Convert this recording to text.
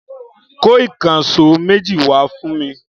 Kó ìkànṣó méjì wá fún mi!